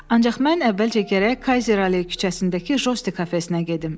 “Ancaq mən əvvəlcə gərək Kayzeralley küçəsindəki Josti kafesinə gedim.